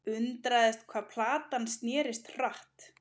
Undraðist hvað platan snerist hratt.